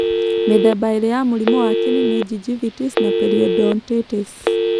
Mĩthemba ĩrĩ ya mũrimũ wa kĩni nĩ gingivitis na periodontitis.